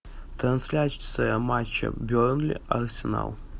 трансляция матча бернли арсенал